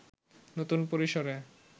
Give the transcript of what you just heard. নতুন পরিসরে